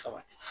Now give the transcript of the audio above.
Sabati